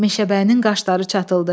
Meşəbəyinin qaşları çatıldı.